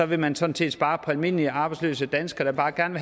vil man sådan set spare på almindelige arbejdsløse danskere der bare gerne